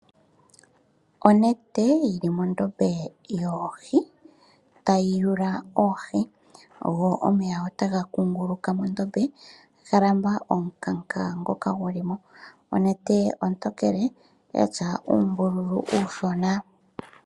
Onete yi li mondombe yoohi tayi yula oohi go omeya otaga kunguluka mondombe ga lamba omukanka ngoka gu li mo. Onete ontokele ya tya uumbululu uushona.